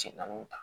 Cɛ naani ta